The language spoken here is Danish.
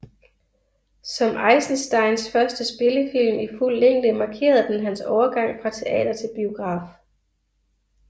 Som Eisensteins første spillefilm i fuld længde markerede den hans overgang fra teater til biograf